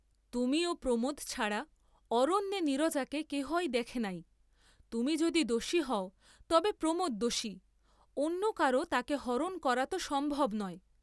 তুমি ও প্রমোদ ছাড়া অরণ্যে নীরজাকে কেহই দেখে নাই, তুমি যদি দোষী হও তবে প্রমোদ দোষী, অন্য কারো তাকে হরণ করা ত সম্ভব নয়।